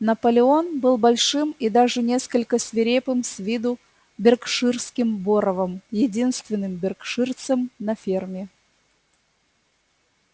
наполеон был большим и даже несколько свирепым с виду беркширским боровом единственным беркширцем на ферме